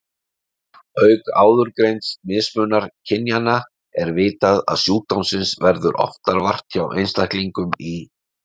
Auk áðurgreinds mismunar kynjanna er vitað að sjúkdómsins verður oftar vart hjá einstaklingum í